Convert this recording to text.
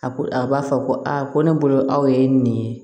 A ko a b'a fɔ ko aa ko ne bolo aw ye nin ye